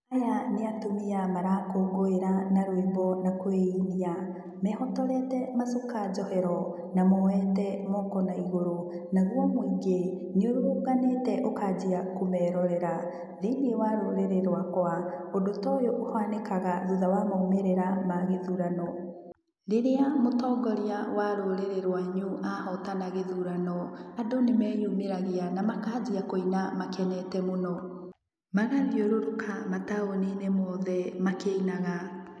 Aya nĩ atumia marakũngũĩra na rwĩmbo na kwĩinia. Mehotorete macuka njohero, na moete moko naigũrũ. Naguo mũingĩ, nĩũrũrũnganĩte ũkaanjia kũmeerorera. Thĩiniĩ wa rũrĩrĩ rwakwa, ũndũ ta ũyũ ũhanikaga thutha wa maumĩrĩra ma gĩthurano. Rĩrĩa mũtongoria wa rũrĩrĩ rwanyu ahotana gĩthurano, andũ nĩ meyumĩragia, na makaanjia kũina makenete mũno. Magathiũrũrũka mataũni-inĩ mothe, makĩinaga.